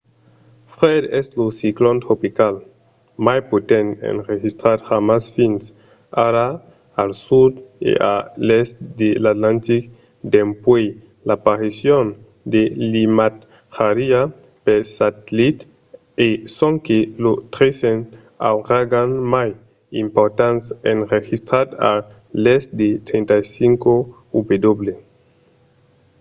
fred es lo ciclon tropical mai potent enregistrat jamai fins ara al sud e a l'èst de l'atlantic dempuèi l'aparicion de l’imatjariá per satellit e sonque lo tresen auragan mai important enregistrat a l'èst de 35°w